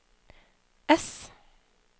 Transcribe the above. ess